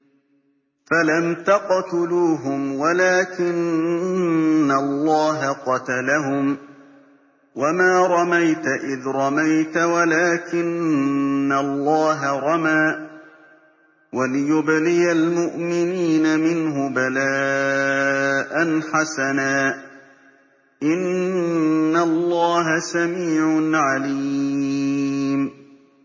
فَلَمْ تَقْتُلُوهُمْ وَلَٰكِنَّ اللَّهَ قَتَلَهُمْ ۚ وَمَا رَمَيْتَ إِذْ رَمَيْتَ وَلَٰكِنَّ اللَّهَ رَمَىٰ ۚ وَلِيُبْلِيَ الْمُؤْمِنِينَ مِنْهُ بَلَاءً حَسَنًا ۚ إِنَّ اللَّهَ سَمِيعٌ عَلِيمٌ